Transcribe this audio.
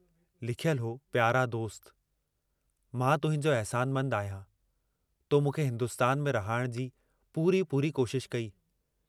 लिखयलु हो प्यारा दोस्त, मां तुहिंजो अहसानमंद आहियां, तो मूंखे हिन्दुस्तान में रहाइण जी पूरी पूरी कोशशि कई।